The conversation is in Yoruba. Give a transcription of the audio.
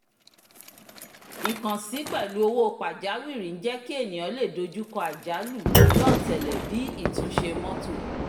ìkànsí pẹ̀lú owó pajawiri ń jẹ́ kí ènìyàn lè dojú kọ́ àjálù lọ́ọ́tẹ̀lẹ̀ bíi ìtúnṣe mọ́tò